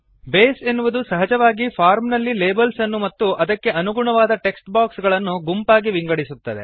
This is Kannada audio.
ಬೇಸ್ ಎನ್ನುವುದು ಸಹಜವಾಗಿ ಫಾರ್ಮ್ ನಲ್ಲಿ ಲೇಬಲ್ಸ್ ಅನ್ನು ಮತ್ತು ಅದಕ್ಕೆ ಅನುಗುಣವಾದ ಟೆಕ್ಸ್ಟ್ ಬಾಕ್ಸ್ ಗಳನ್ನು ಗುಂಪಾಗಿ ವಿಂಗಡಿಸುತ್ತದೆ